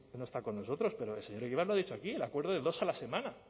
no está con nosotros pero el señor egibar lo ha dicho aquí el acuerdo de dos a la semana